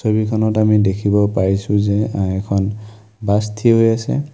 ছবি খনত আমি দেখিব পাইছোঁ যে আ এখন বাছ থিয় হৈ আছে।